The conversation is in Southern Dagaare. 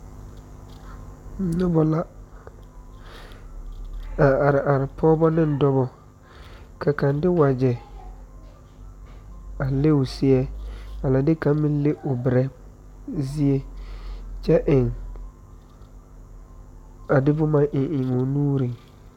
Noba la are are pɔgeba ane dɔba ka kaŋa de wagyɛ a leŋ o seɛ a de kaŋa meŋ leŋ o berɛɛ, zie kyɛ eŋ a de boma eŋ eŋ o nuuri.